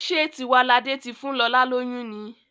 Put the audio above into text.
Ṣe Tiwalade tí fún lọla lóyún ní?